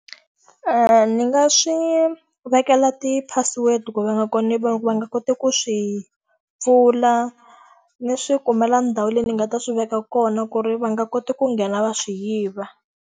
Ndzi nga swi vekela ti-password ku va nga va va nga koti ku swi pfula, ndzi swi kumela ndhawu leyi ndzi nga ta swi veka kona ku ri va nga koti ku nghena va swi yiva.